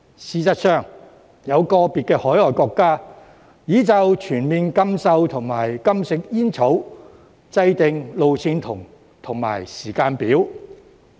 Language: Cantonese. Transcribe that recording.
事實上，有個別海外國家已就全面禁售及禁食煙草制訂路線圖和時間表。